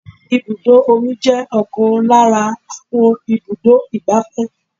Ibùdó omi jẹ́ ọ̀kan lára àwọn ibùdó igbàfẹ́.